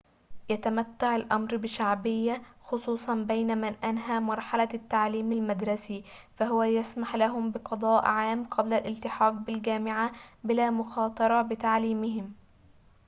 يتمتع الأمر بشعبية خصوصاً بين من أنهى مرحلة التعليم المدرسي فهو يسمح لهم بقضاء عام قبل الالتحاق بالجامعة بلا مخاطرة بتعليمهم